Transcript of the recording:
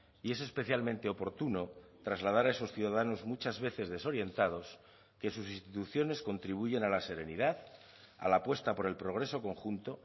y es especialmente oportuno trasladar a esos ciudadanos muchas veces desorientados que sus instituciones contribuyen a la serenidad a la apuesta por el progreso conjunto